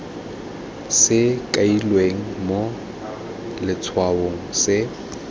se kailweng mo letshwaong se